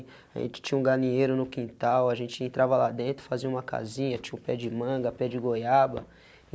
A gente tinha um galinheiro no quintal, a gente entrava lá dentro, fazia uma casinha, tinha um pé de manga, pé de goiaba.